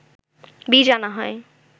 বীজ আনা হয়